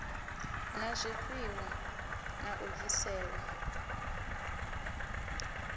na zwifhiwa na u bviselwa